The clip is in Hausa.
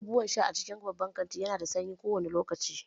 Abubuwan sha a cikin babban kanti nada sanyi kowane lokaci